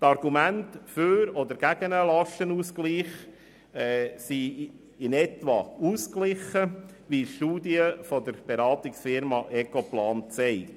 Die Argumente für oder gegen einen Lastenausgleich sind in etwa ausgeglichen, wie eine Studie der Beratungsfirma Ecoplan zeigt.